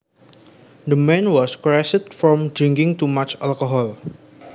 The man was crazed from drinking too much alcohol